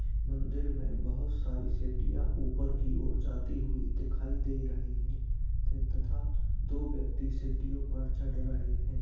मंदिर में बहुत सारी सिडडियों ऊपर की ओर जाती हुई दिखाई दे रही है तथा दो व्यक्ति सीडियो पर चढ़ रहे है।